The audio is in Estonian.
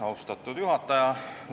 Austatud juhataja!